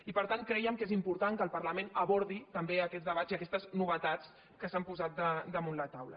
i per tant creiem que és important que el parla·ment abordi també aquests debats i aquestes novetats que s’han posat damunt la taula